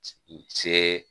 Se